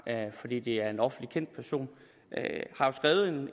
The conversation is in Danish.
fordi det er en offentligt kendt person